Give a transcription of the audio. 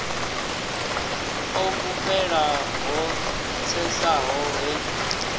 o fhufhela ho tsesaho he